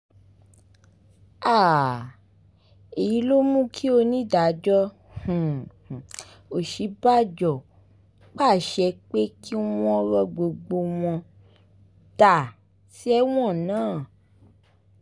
um èyí ló mú kí onídàájọ́ um òṣíbàjọ pàṣẹ pé kí wọ́n ro gbogbo wọn dà sẹ́wọ̀n ná